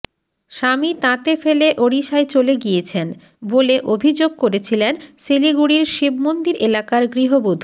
স্বামী তাঁতে ফেলে ওড়িশায় চলে গিয়েছেন বলে অভিযোগ করেছিলেন শিলিগুড়ির শিবমন্দির এলাকার গৃহবধূ